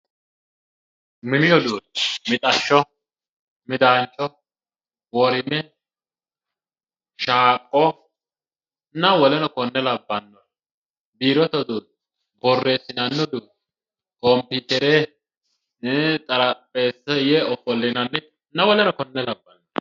Mini uduunni mixashsho midaancho worime caaqqonna woleno konne labbanno woleno konne labbanno. biirote uduunni birreessinanni uduunne kompiitere xarapheeza ofollinanninna woleno kuri labbanno.